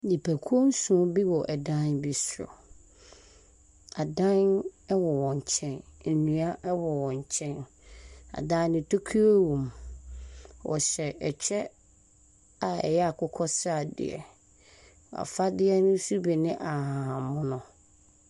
Nnipakuo nson bi wɔ dan bi so. Adan wɔ wɔn nkyɛn. Nnua wɔ wɔn nkyɛn. Adan no tokuro wom. Wɔhyɛ kyɛ a ɛyɛ akokɔ sradeɛ. Wɔn afadeɛ nso bi ne ahahan mono.